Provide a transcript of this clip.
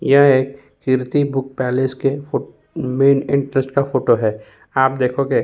यह एक Kirti book palace के फो मैन एंट्रेंस का फोटो है। आप देखोगे --